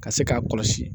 Ka se k'a kɔlɔsi